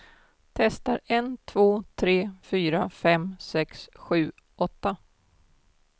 Testar en två tre fyra fem sex sju åtta.